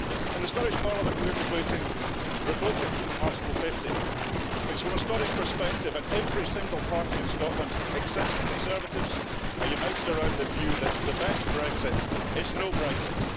In the Scottish Parliament, we're debating revoking Article 50, because from a Scottish perspective and every single party in Scotland, except the Conservatives, are united around this view the best Brexit is no Brexit.